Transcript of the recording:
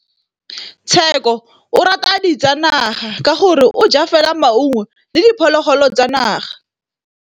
Tshekô o rata ditsanaga ka gore o ja fela maungo le diphologolo tsa naga.